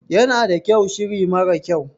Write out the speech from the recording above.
Yana da kyau shiri mara kyau.